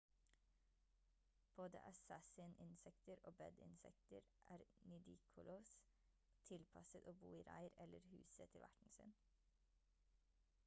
både assassin-insekter og bed-insekter er nidicolous tilpasset å bo i reir eller huset til verten sin